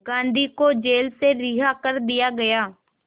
गांधी को जेल से रिहा कर दिया गया